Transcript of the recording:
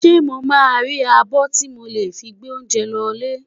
Ṣé mo máa rí abọ́ tí mo lè fi gbé oúnjẹ lọ lé?